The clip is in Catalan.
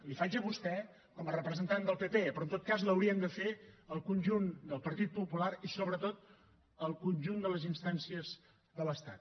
la faig a vostè com a representant del partit popular però en tot cas l’hauríem de fer al conjunt del partit popular i sobretot al conjunt de les instàncies de l’estat